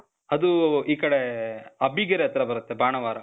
ಅದೂ, ಈ ಕಡೇ, ಅಬ್ಬಿಗೆರೆ ಹತ್ರ ಬರತ್ತೆ. ಬಾಣಾವಾರ.